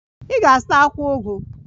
Ị ga-azụta akwụkwọ ugu